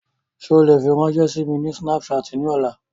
Ṣe o le firanṣẹ si mi lori Snapchat ni ọla?